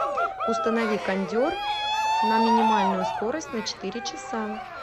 установи кондер на минимальную скорость на четыре часа